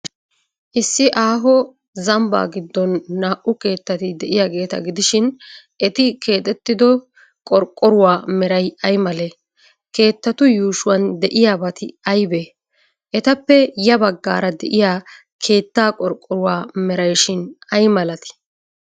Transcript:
Issi aaho zabbaa giddon naa''u keettati de'iyaageeta gidishin, eti keexettido qorqqoruwa meray ay malee? Keettatu yuushuwan de'iyaabati aybee? Etappe ya baggaara de'iya keettaa qorqqruwa merayshin ay malatii?